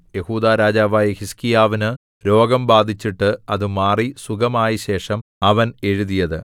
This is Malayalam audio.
യെഹൂദാ രാജാവായ ഹിസ്കീയാവിന്നു രോഗം ബാധിച്ചിട്ടു അത് മാറി സുഖമായ ശേഷം അവൻ എഴുതിയത്